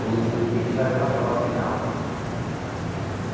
No último dia, a gente faz uma prova final.